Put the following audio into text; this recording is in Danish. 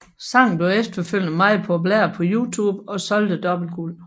Sangen blev efterfølgende meget populær på YouTube og solgte dobbelt guld